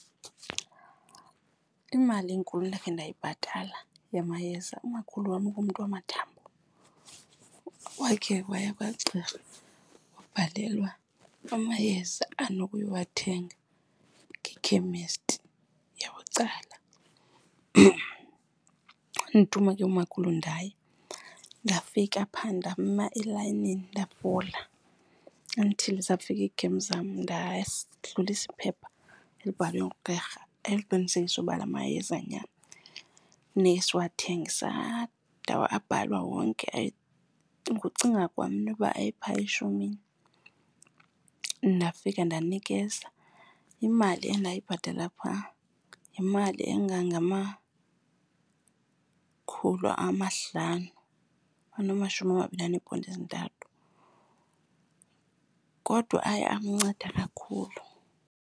Imali enkulu endakhe ndayibhatala yamayeza, umakhulu wam ngumntu wamathambo, wakhe waya kwagqirha wabhalelwa amayeza anokuwathenga ekhemesti yabucala. Wandithuma ke umakhulu ndaya, ndafika phaa ndama elayinini, ndafola until zafika iigem zam, ndadlulisa iphepha elibhalwe ngugqirha eliqinisekisayo ukuba la mayeza nyhani funeka siwathenge. Abhalwa wonke, ngokucinga kwam inoba ayephaya eshumini. Ndafika ndanikeza, imali endayibhatala phaa yimali engangamakhulu amahlanu anamashumi amabini aneponti ezintathu. Kodwa aye amnceda kakhulu.